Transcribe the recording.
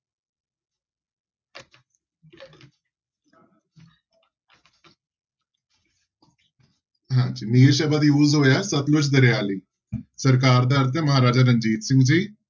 ਹਾਂਜੀ ਨੀਲ ਸ਼ਬਦ use ਹੋਇਆ ਸਤਲੁਜ ਦਰਿਆ ਲਈ ਸਰਕਾਰ ਦਾ ਅਰਥ ਹੈ ਮਹਾਰਾਜਾ ਰਣਜੀਤ ਸਿੰਘ ਜੀ।